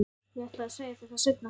Ég ætlaði að segja þér það seinna.